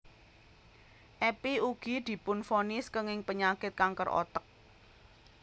Epy ugi dipunvonis kénging penyakit kanker otek